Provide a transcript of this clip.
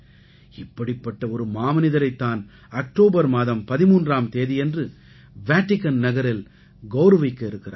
இப்படிப்பட்ட ஒரு மாமனிதரைத் தான் அக்டோபர் மாதம் 13ஆம் தேதியன்று வேடிகன் நகரில் கௌரவிக்க இருக்கிறார்கள்